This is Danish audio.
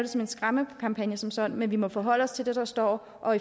som en skræmmekampagne som sådan men vi må forholde os til det der står og